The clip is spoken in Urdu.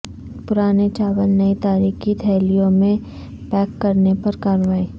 پرانے چاول نئی تاریخ کی تھیلیوں میں پیک کرنے پر کارروائی